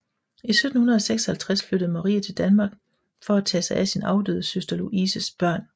I 1756 flyttede Marie til Danmark for at tage sig af sin afdøde søster Louises børn